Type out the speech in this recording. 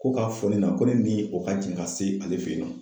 Ko ka fɔ ne na ko ne ni o ka jɛn ka se ale fɛ yen nɔ.